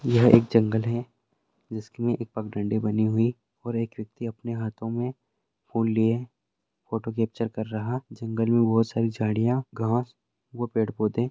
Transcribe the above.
यह एक जंगल है जिस मे एक पगडण्डी बनी हुई-- एक व्यक्ति अपने हाथों मे फूल लिए फोटो कैप्चर कर रहा-- जंगल मे बहुत सारी झाड़ियां घास व पेड़ पौधे--